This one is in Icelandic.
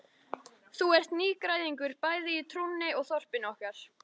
Þú ert nýgræðingur bæði í trúnni og þorpinu okkar.